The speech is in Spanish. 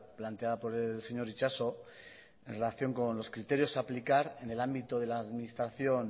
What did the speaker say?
planteada por el señor itxaso en relación con los criterios aplicar en el ámbito de la administración